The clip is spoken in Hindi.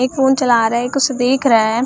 एक फोन चला रहे है एक उसे देख रहा है।